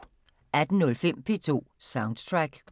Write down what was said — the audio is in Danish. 18:05: P2 Soundtrack